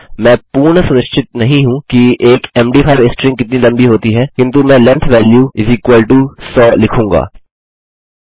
मैं पूर्ण सुनिश्चित नहीं हूँकि एक मद5 स्ट्रिंग कितनी लम्बी होती है किन्तु मैं लेंग्थ वैल्यू 100 लिखूँगा